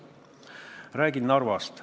Ma räägin Narvast.